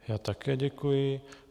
Já také děkuji.